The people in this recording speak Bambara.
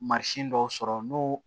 Mansin dɔw sɔrɔ n'u